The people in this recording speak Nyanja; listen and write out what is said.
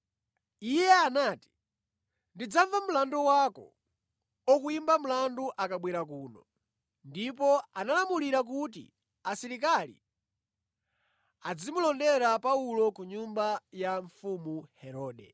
iye anati, “Ndidzamva mlandu wako okuyimba mlandu akabwera kuno.” Ndipo analamulira kuti asilikali adzimulondera Paulo ku nyumba ya mfumu Herode.